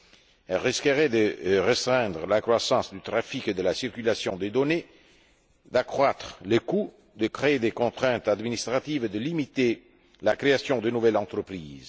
Elle risquerait de restreindre la croissance du trafic et de la circulation des données, d'accroître les coûts, de créer des contraintes administratives et de limiter la création de nouvelles entreprises.